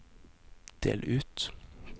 del ut